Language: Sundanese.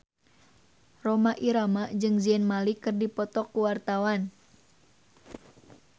Rhoma Irama jeung Zayn Malik keur dipoto ku wartawan